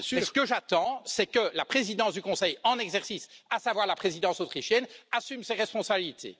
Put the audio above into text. Or, ce que j'attends, c'est que la présidence du Conseil en exercice, à savoir la présidence autrichienne, assume ses responsabilités.